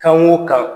Kan o kan